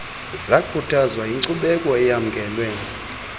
zakhuthazwa yinkcubeko eyamkelwe